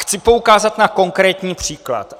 Chci poukázat na konkrétní příklad.